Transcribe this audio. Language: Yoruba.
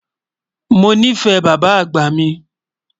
Mọ ní fẹ̀ bàbá àgbá mi.